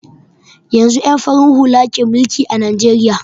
Yanzun ƴan farin hula ke mulki a najeriya